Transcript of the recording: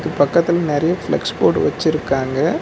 பக்கத்துல நெறைய ஃபளக்ஸ் போடு வச்சுருக்காங்க.